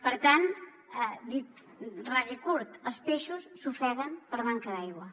per tant dit ras i curt els peixos s’ofeguen per manca d’aigua